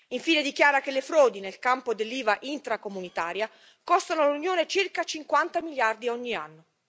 Infine, dichiara che le frodi nel campo dell'IVA intracomunitaria costano all'Unione circa 50 miliardi ogni anno.